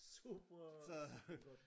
Super super godt